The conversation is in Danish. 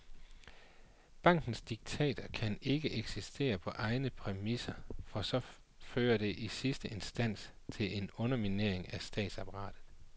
Bankens diktater kan ikke eksistere på egne præmisser, for så fører det i sidste instans til en underminering af statsapparatet.